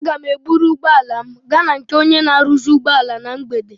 Aga m eburu ụgbọala m gaa na nke onye na-aruzi ụgbọala na mgbede.